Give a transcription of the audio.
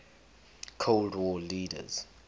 cold war leaders